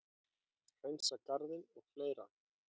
Hreinsa garðinn og fleira.